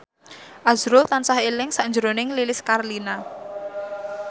azrul tansah eling sakjroning Lilis Karlina